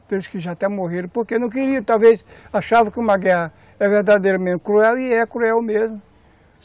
aqueles que já até morreram, porque não queriam, talvez achavam que uma guerra é verdadeira mesmo, cruel, e é cruel mesmo.